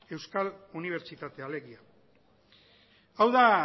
euskal unibertsitatea alegia hau da